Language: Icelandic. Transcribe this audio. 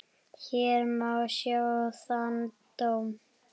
Hér má sjá þann dóm.